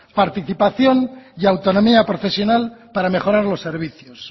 participación y autonomía profesional para mejorar los servicios